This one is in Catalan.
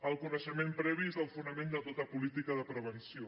el coneixement previ és el fonament de tota política de prevenció